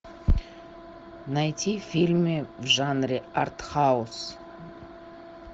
найти фильмы в жанре артхаус